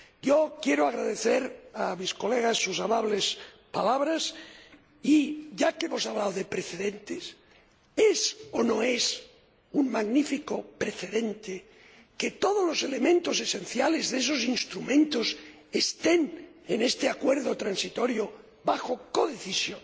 Yo quiero agradecer a sus Señorías sus amables palabras y, ya que hemos hablado de precedentes, ¿es o no es un magnífico precedente que todos los elementos esenciales de esos instrumentos estén en este acuerdo transitorio bajo codecisión?